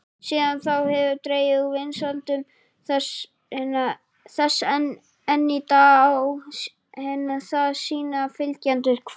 Síðan þá hefur dregið úr vinsældum þess en enn í dag á það sína fylgjendur.